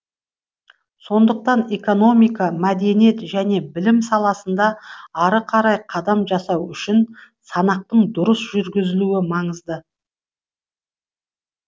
сондықтан экономика мәдениет және білім саласында ары қарай қадам жасау үшін санақтың дұрыс жүргізілуі маңызды